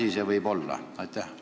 Mis see asi võib olla?